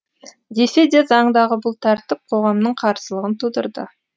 десе де заңдағы бұл тәртіп қоғамның қарсылығын тудырды